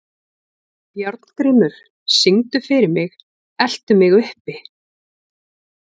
Járngrímur, syngdu fyrir mig „Eltu mig uppi“.